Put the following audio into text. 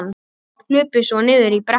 Hlupum svo niður í brekku.